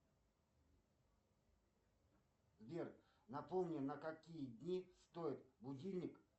сбер напомни на какие дни стоит будильник